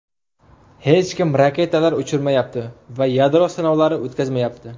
Hech kim raketalar uchirmayapti va yadro sinovlari o‘tkazmayapti.